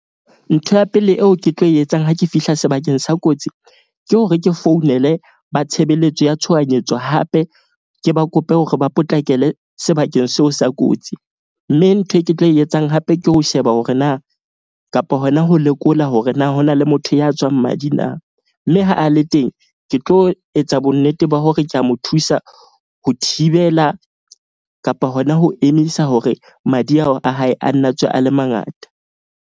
Ntho ya pele eo ke tlo e etsang ha ke fihla sebakeng sa kotsi. Ke hore ke founele ba tshebeletso ya tshohanyetso hape ke ba kope hore ba potlakele sebakeng seo sa kotsi. Mme ntho e ke tlo e etsang hape ke ho sheba hore na kapa hona ho lekola hore na ho na le motho ya tswang madi na. Mme ha a le teng ke tlo etsa bonnete ba hore ke a mo thusa ho thibela kapa hona ho emisa hore madi ao a hae a nna tswe a le mangata.